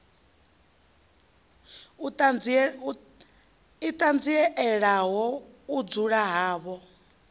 i ṱanzielaho u dzula havho